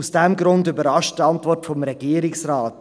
Aus diesem Grund überrascht die Antwort des Regierungsrates: